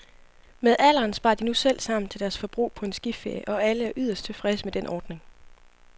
Med alderen sparer de nu selv sammen til deres forbrug på en skiferie, og alle er yderst tilfredse med den ordning.